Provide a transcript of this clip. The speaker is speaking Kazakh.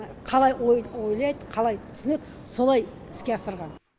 қалай ойлайды қалай түсінеді солай іске асырған